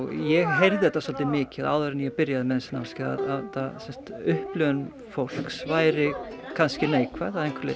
ég heyrði þetta svolítið mikið áður en ég byrjaði með þessi námskeið að upplifun fólks væri kannski neikvæð að einhverju leyti